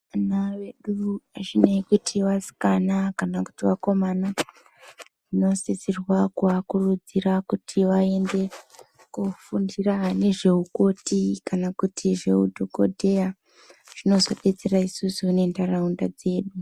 Ana vedu hazvinei kuti vasikana kana kuti vakomana, tinosisirwa kuvakurudzira kuti vaende kunofundira nezveukoti kana kuti zveudhokodheya zvinozobetsera isusu nentaraunda dzedu.